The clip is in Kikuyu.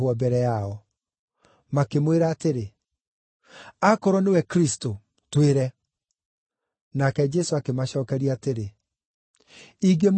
Makĩmwĩra atĩrĩ, “Akorwo nĩwe Kristũ, twĩre.” Nake Jesũ akĩmacookeria atĩrĩ, “Ingĩmwĩra, mũtingĩnjĩtĩkia,